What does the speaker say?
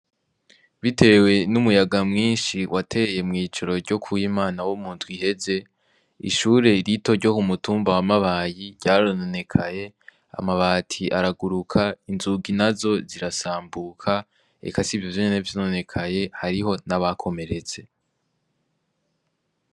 Bitew n'umuyaga mwishi wateye mwijoro ryo kuwimana wo mundwiheze, ishure rito ryo kumutumba wa mabayi ryarononekaye, amabati araguruka, inzugi nazo zirasanbuka, eka sivyo vyonyene vyononekaye, hariho n'abakomeretse.